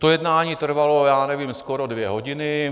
To jednání trvalo, já nevím, skoro dvě hodiny.